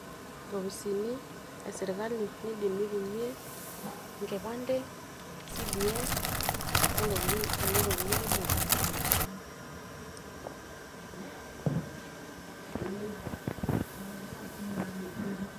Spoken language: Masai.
nkopisini e sirkali nindim nitumie enkipande, cdf ontokitin kulie tokitin kumok esirkali